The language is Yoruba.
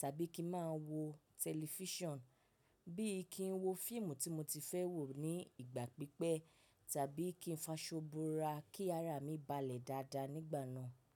tàbí kí n má a wo tẹlifíṣàn, bí i kí n wo fíìmù tí mo ti fẹ́ wo ní ìgbà pípẹ́ tàbí kí n faṣọ bo’ra kí ara mi balẹ̀ dáadáa nígbà náà.